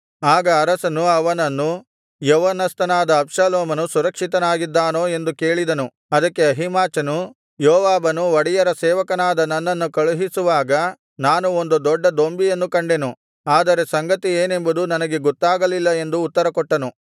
ಆಗ ಅರಸನು ಅವನನ್ನು ಯೌವನಸ್ಥನಾದ ಅಬ್ಷಾಲೋಮನು ಸುರಕ್ಷಿತವಾಗಿದ್ದಾನೋ ಎಂದು ಕೇಳಿದನು ಅದಕ್ಕೆ ಅಹೀಮಾಚನು ಯೋವಾಬನು ಒಡೆಯರ ಸೇವಕನಾದ ನನ್ನನ್ನು ಕಳುಹಿಸುವಾಗ ನಾನು ಒಂದು ದೊಡ್ಡ ದೊಂಬಿಯನ್ನು ಕಂಡೆನು ಆದರೆ ಸಂಗತಿ ಏನೆಂಬುದು ನನಗೆ ಗೊತ್ತಾಗಲಿಲ್ಲ ಎಂದು ಉತ್ತರಕೊಟ್ಟನು